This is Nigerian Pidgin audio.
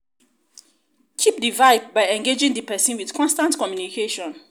keep di vibe by engaging di person with constant communication